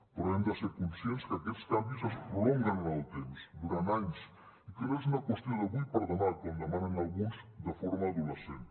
però hem de ser conscients que aquests canvis es prolonguen en el temps durant anys i que no és una qüestió d’avui per demà com demanen alguns de forma adolescent